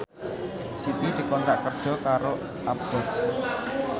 Siti dikontrak kerja karo Abboth